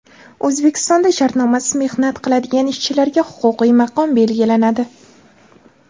O‘zbekistonda shartnomasiz mehnat qiladigan ishchilarga huquqiy maqom belgilanadi.